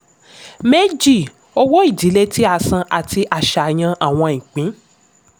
méjì: owó-ìdílé tí a san àti àṣàyàn àwọn ìpín.